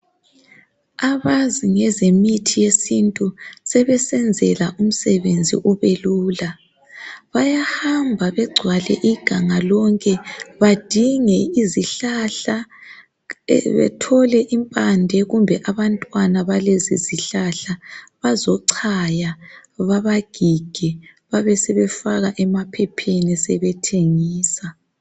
Abazi ngezemithi yesintu sebesenzela umsebenzi ubelula. Bayahamba iganga lonke badinge izihlahla ebethole impande kumbe abantwana balezizihlahla bazochaya babagige babesebefaka emaphepheni sebethengisa.